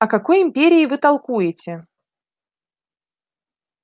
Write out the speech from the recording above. о какой империи вы толкуете